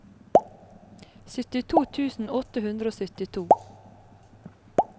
syttito tusen åtte hundre og syttito